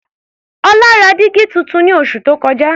Ọlá ra dígí tuntun ní oṣù tó kọjá.